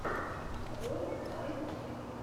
ролик аид ютьюб